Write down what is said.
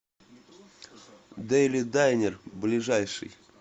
дейли дайнер ближайший